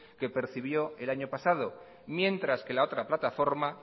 que percibió el año pasado mientras que la otra plataforma